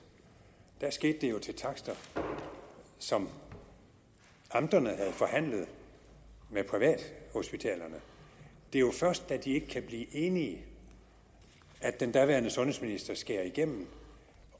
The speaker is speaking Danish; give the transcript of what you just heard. skete det jo til takster som amterne havde forhandlet med privathospitalerne det er jo først da de ikke kan blive enige at den daværende sundhedsminister skærer igennem